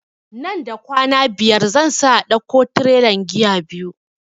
Nan da kwana biyar zan sa a dauko tirelan giya biyu